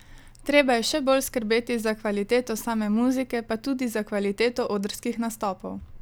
Treba je še bolj skrbeti za kvaliteto same muzike pa tudi za kvaliteto odrskih nastopov.